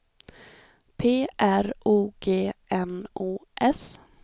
P R O G N O S